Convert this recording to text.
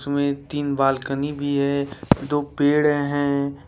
में तीन बालकनी भी है दो पेड़ हैं।